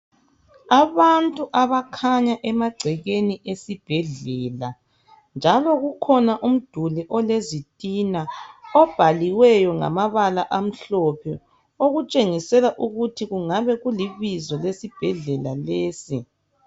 Abantu abakhanya emagcekeni esibhedlela njalo kukhona umduli ole zitina obhaliweyo ngamabala amhlophe okutshengisela ukuthi kungabe kulibizo lesibhedlela lesi .